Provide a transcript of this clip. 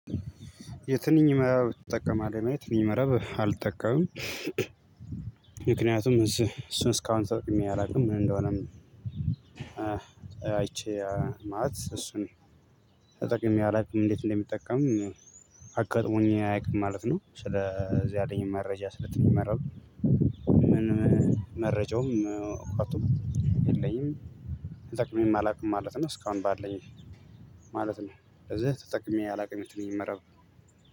የትንኝ መረብ ትጠቀማለህ ነው? የትንኝ መረብ አልጠቀምም። ምክንያቱም እሱን እስካሁን ተጠቅሜ አላውቅም ምን እንደሆነም። አይቼ ማለት እሱን ተጠቅሜ አላውቅም እንዴት እንደሚጠቀም አጋጥሞኝ አያውቅም ማለት ነው። ስለዚህ ያለኝም መረጃ ስለ ትንኝ መረብ ምንም መረጃውም እውቀቱም የለኝም። ተጠቅሜም አላውቅም ማለት ነው። እስካሁን ባለኝ ማለት ነው ስለዚህ ተጠቅሜ አላውቅም የትንኝ መረብ።